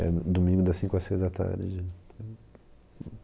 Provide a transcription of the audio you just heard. É domingo das cinco às seis da tarde.